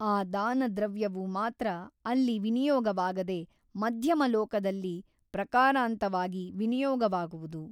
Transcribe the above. ಆ ದಾನದ್ರವ್ಯವು ಮಾತ್ರ ಅಲ್ಲಿ ವಿನಿಯೋಗವಾಗದೆ ಮಧ್ಯಮ ಲೋಕದಲ್ಲಿ ಪ್ರಕಾರಾಂತವಾಗಿ ವಿನಿಯೋಗವಾಗುವುದು.